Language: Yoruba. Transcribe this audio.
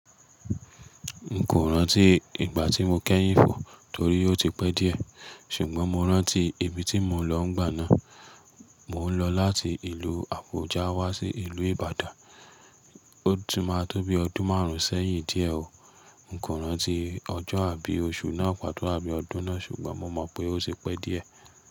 N kò rántí ìgbà tí mo kẹ́yìn fò torí ó ti pẹ́ díẹ̀, ṣùgbọ́n mo rántí ibi tí mo lọ n gbà náà. Mò ń lọ láti ìlú Àbújá wá sí ìlú Ìbàdàn, ó ti máa tó bi ọdún márùn-ún sẹ́yìn díẹ̀ o. N kò rántí ọjọ́ àbí oṣù náà pàtó àbí ọdún náà, ṣùgbọ́n mo mọ̀ pé ó ti pẹ́ díẹ̀.